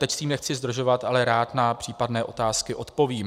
Teď s tím nechci zdržovat, ale rád na případné otázky odpovím.